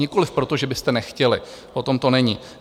Nikoli proto, že byste nechtěli, o tom to není.